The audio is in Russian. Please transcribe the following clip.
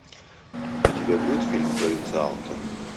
у тебя будет фильм провинциалка